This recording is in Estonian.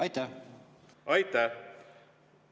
Aitäh!